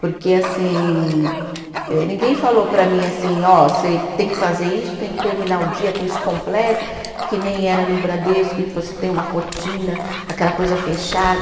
Porque, assim eh, ninguém falou para mim, assim, ó, você tem que fazer isso, tem que terminar o dia com isso completo, que nem era no Bradesco, que você tem uma rotina, aquela coisa fechada.